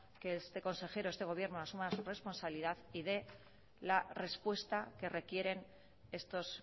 que este consejero este gobierno asuma su responsabilidad y dé la respuesta que requieren estos